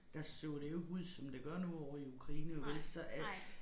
Der så det jo ikke ud som det gør nu ovre i Ukraine og vel så øh